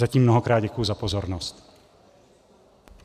Zatím mnohokrát děkuji za pozornost.